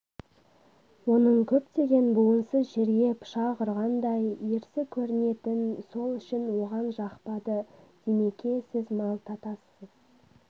оның көптеген буынсыз жерге пышақ ұрғандай ерсі көрінетін сол үшін оған жақпады димеке сіз малта тассыз